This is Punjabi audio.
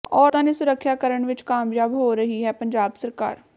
ਔਰਤਾਂ ਦੀ ਸੁਰੱਖਿਆ ਕਰਨ ਵਿਚ ਕਾਮਯਾਬ ਹੋ ਰਹੀ ਹੈ ਪੰਜਾਬ ਸਰਕਾਰ